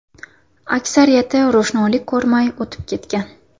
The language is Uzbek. Aksariyati ro‘shnolik ko‘rmay o‘tib ketgan.